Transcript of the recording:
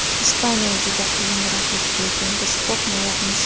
Ispaniya juda qiyin raqib, lekin biz qo‘rmayapmiz.